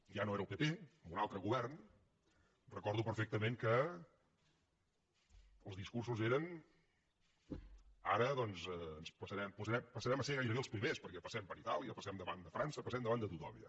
ja no era el pp amb un altre govern recordo perfectament que els discursos eren ara doncs passarem a ser gairebé els primers perquè passem per itàlia passem davant de frança passem davant de tothom ja